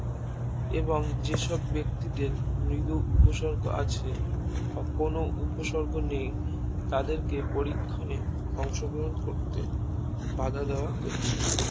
এবং যেসব ব্যাক্তিদের নিজের উপসর্গ রচে বা কোনো উপসর্গ নেই তাদেরকে পরীক্ষণ অংশগ্রহণ করতে বাধা দেওয়া হচ্ছে